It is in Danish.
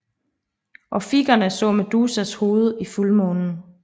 Orfikerne så Medusas hoved i fuldmånen